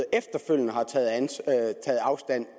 efterfølgende har taget afstand